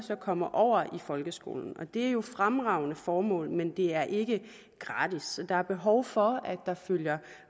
kommer over i folkeskolen det er jo et fremragende formål men det er ikke gratis så der er behov for at der følger